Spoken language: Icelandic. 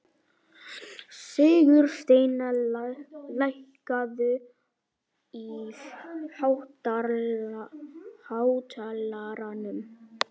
Sigursteina, lækkaðu í hátalaranum.